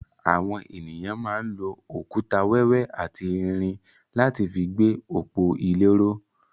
Àwọn ènìyàn máa ń lò òkúta wẹ́wẹ́ àti irin láti fi gbé òpó ile ró.